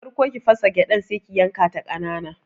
Farko ki fasa gyadar Sai ki yankata kanana.